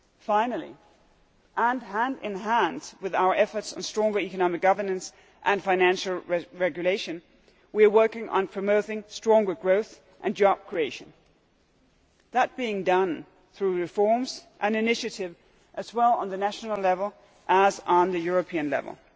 Finally, and hand in hand with our efforts on stronger economic governance and financial regulation, we are working on promoting stronger growth and job creation, with this being done through reforms, initiatives at both national level and European level.